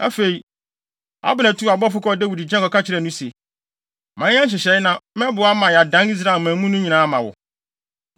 Afei, Abner tuu abɔfo kɔɔ Dawid nkyɛn kɔka kyerɛɛ no se, “Ma yɛnyɛ nhyehyɛe na mɛboa ama yɛadan Israelman mu no nyinaa ama wo.”